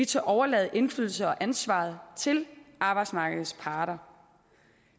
tør overlade indflydelse og ansvar til arbejdsmarkedets parter